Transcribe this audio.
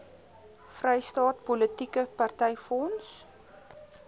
vrystaat politieke partyfonds